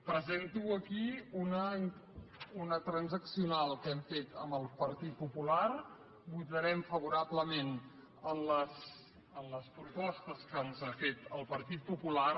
presento aquí una transaccional que hem fet amb el partit popular votarem favorablement a les propostes que ens ha fet el partit popular